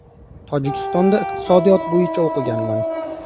Tojikistonda iqtisodiyot bo‘yicha o‘qiganman.